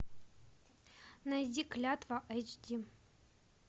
найди клятва айч ди